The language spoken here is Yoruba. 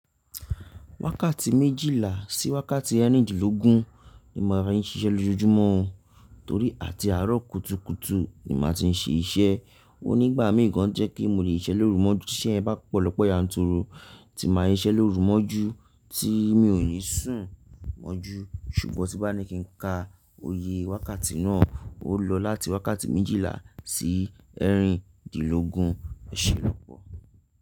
Wákàtí méjìlá sí wákàtí ẹ́rìndínlógún ni màá fi ń siṣẹ́ lójoojúmọ́, torí à ti àárọ̀ kùtùkùtù ni màá ti ń ṣe iṣẹ́. Ó nígbà mí gan jẹ́ kí mò le sise lórú mọ́jú tí ise yen bá pọ̀ lọ́pọ̀ yanturu tí màá sise lórú mọ́jú tí mi ò ní sùn mọ́jú. Ṣùgbọ́n tí bá ní kí ń ka oye wákàtí náà, ó lọ láti wákàtí méjìlá sí ẹ́rìndínlógún. Ọ̀ṣẹ̀ lópọ̀.